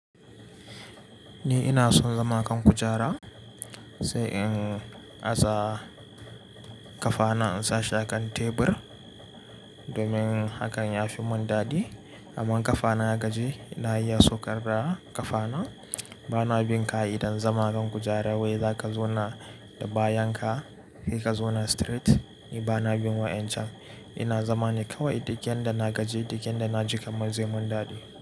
Ni ina son zama kan kujara sai in aza kafana in sa shakan tebur domin hakan ya fimun dadi. Amma kafana ya gaji, na iya saukar da kafana. Bana bin ka'ida zama kan kujara wai za ka zauna da bayan ka kai ka zauna straight. Ni bana bin wa'incan. Ina zama ni kawai ɗuk yanda da na gaji ɗuk yanda da na ji kaman zai mun dadi.